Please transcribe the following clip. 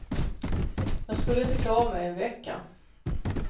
Jag skulle inte klara mig en vecka.